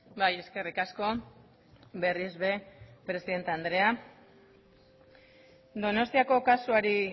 bai eskerrik asko berriz ere presidente andrea donostiako kasuari